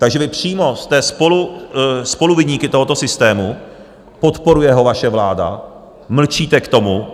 Takže vy přímo jste spoluviníky tohoto systému, podporuje ho vaše vláda, mlčíte k tomu.